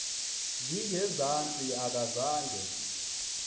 zinge zantsi akazange